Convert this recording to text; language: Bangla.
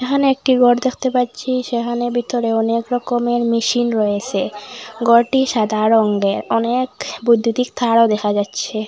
এখানে একটি গর দেখতে পাচ্ছি সেহানে ভিতরে অনেক রকমের মেশিন রয়েসে গরটি সাদা রঙ্গের অনেক বৈদ্যুতিক তারও দেখা যাচ্ছে।